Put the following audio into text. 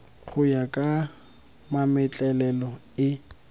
go ya ka mametlelelo e